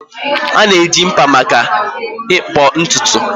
A na-eji mkpa maka ịkpụ ntutu